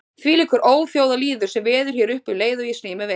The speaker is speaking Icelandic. Þvílíkur óþjóðalýður sem veður hér uppi um leið og ég sný mér við.